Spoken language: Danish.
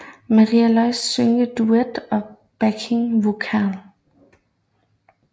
Maria Ljósá synger duet og backing vocal